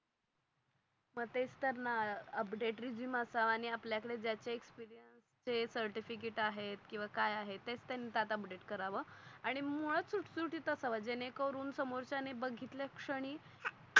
मग तेच तर ना अपडेट रेझूमे असावा आणि आपल्या कडे ज्याचा एक्सपीरियन्स आहे सर्टिफिकेट आहेत कीव काय आहे तेच त्यांनी कराव. आणि मुळात सुत सुटीत असाव जेणे करून समोर च्या ने बगीतल शनी